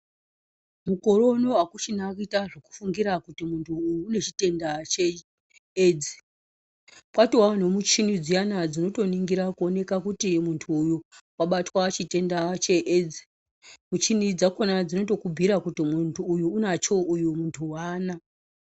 Mukore unowu akuchina kuita zvekufungira kuti munhu uyu une chitenda cheAIDS. Kwatovawo nemuchini dziyana dzinotoningira kuoneka kuti munthu wabatwa ngechitenda cheAIDS. Muchini dzakhona dzinotokubhuira kuti uyu munhtu unacho uyu munthu aana.